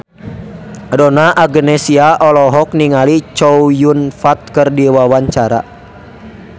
Donna Agnesia olohok ningali Chow Yun Fat keur diwawancara